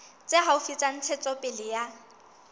tse haufi tsa ntshetsopele ya